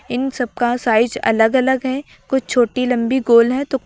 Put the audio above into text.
इन सब का साइज़ अलग अलग है कुछ छोटी लंबी गोल है तो--